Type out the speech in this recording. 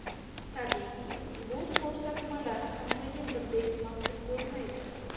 Tabiiyki, bu kabi ko‘rsatmalar hammaga birdek ma’qul bo‘lmaydi.